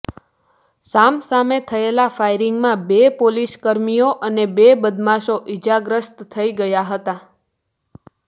સામ સામે થયેલા ફાયરિંગમાં બે પોલીસકર્મીઓ અને બે બદમાશો ઈજાગ્રસ્ત થઈ ગયા હતા